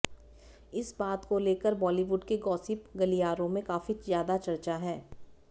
इस बात को लेकर बॉलीवुड के गॉसिप गलियारों में काफी ज्यादा चर्चा है